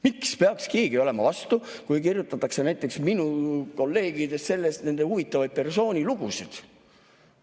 Miks peaks keegi olema vastu, kui kirjutatakse näiteks minu kolleegidest huvitavaid persoonilugusid?